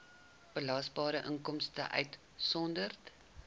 belasbare inkomste uitgesonderd